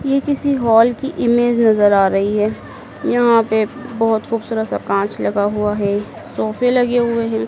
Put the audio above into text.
ये किसी हॉल की इमेज नजर आ रही है यहां पे बहोत खूबसूरत सा कांच लगा हुआ है सोफे लगे हुए हैं।